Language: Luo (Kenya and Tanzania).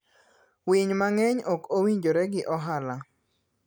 Winy mang'eny ok owinjore gi ohala.